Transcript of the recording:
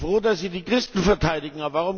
Ich bin froh, dass Sie die Christen verteidigen.